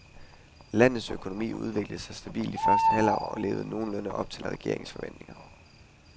Landets økonomi udviklede sig stabilt i første halvår og levede nogenlunde op til regeringens forventninger.